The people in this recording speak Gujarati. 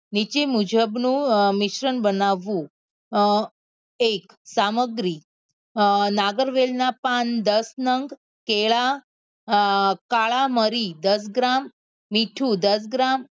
નીચે મુજબ નું મિશ્રણ બનાવવું એક સામગ્રી નાગરવેલ ના પાન દસ નંગ કેલા અ કાળા મરી દસ ગ્રામ મીઠું દસ ગ્રામ